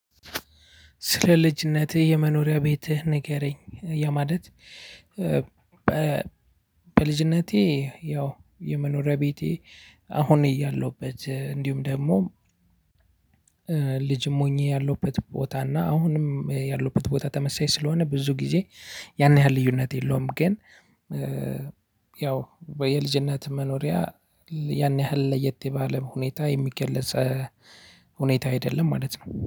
ስለ ልጅነትህ የመኖሪያ ቤትህ ንገረኝ ያ ማለት? በልጅነቴ ያው የመኖሪያ ቤቴ አሁን እያለሁበት እንዲሁም ደሞ ልጅም ሆኜ ያለሁበት ቦታ እና አሁንም ያለሁበት ቦታ ተመሳሳይ ስለሆነ ብዙ ጊዜ ያን ያህል ልዩነት የለውም። ግን ያው የልጅነት መኖሪያ ያን ያህል ለየት ባለ ሁኔታ የሚገለጽ ሁኔታ አይደለም ማለት ነው